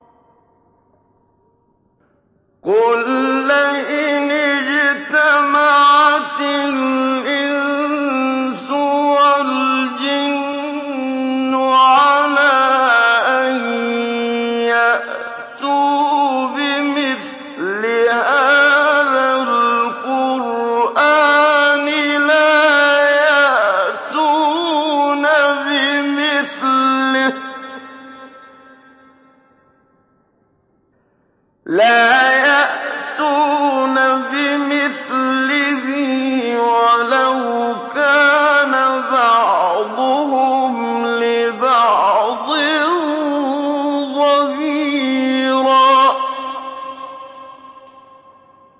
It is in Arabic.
قُل لَّئِنِ اجْتَمَعَتِ الْإِنسُ وَالْجِنُّ عَلَىٰ أَن يَأْتُوا بِمِثْلِ هَٰذَا الْقُرْآنِ لَا يَأْتُونَ بِمِثْلِهِ وَلَوْ كَانَ بَعْضُهُمْ لِبَعْضٍ ظَهِيرًا